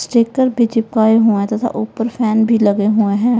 Sticker भीं चिपकाये हुए है तथा ऊपर फैन भी लगे हुए हैं।